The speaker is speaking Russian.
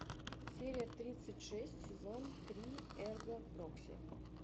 серия тридцать шесть сезон три эрго прокси